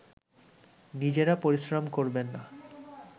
নিজেরা পরিশ্রম করবে না